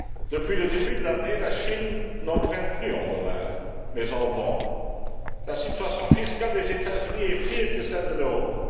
Depuis le début de l'année, la Chine n'emprunte plus en dollars, mais en vend. La situation fiscale des États Unis est pire que celle de l'Europe.